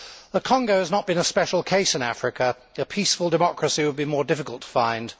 The Congo has not been a special case in Africa. A peaceful democracy would be more difficult to find.